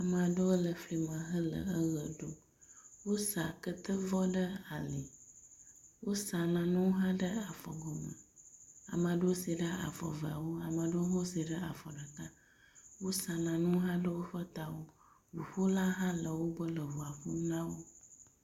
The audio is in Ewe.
Ame aɖewo le fima hele eʋe ɖum. Wosa ketevɔ ɖe ali. Wosa nanewo hã ɖe afɔgɔme. Ame aɖewo se ɖe afɔ eveawo ame aɖewo hã wose ɖe afɔ ɖeka. Wosa nanewo hã ɖe woƒe tawo. Ŋuƒolawo hã le wogbɔ eŋua ƒom na wo.